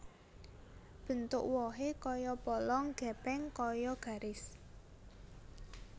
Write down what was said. Bentuk wohé kaya polong gèpèng kaya garis